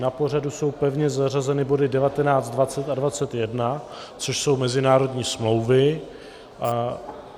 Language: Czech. Na pořadu jsou pevně zařazeny body 19, 20 a 21, což jsou mezinárodní smlouvy.